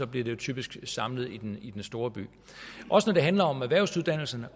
bliver jo typisk samlet i den i den store by når det handler om erhvervsuddannelserne